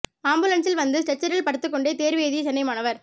ஆம்புலன்ஸில் வந்து ஸ்ட்ரெச்சரில் படுத்துக் கொண்டே தேர்வு எழுதிய சென்னை மாணவர்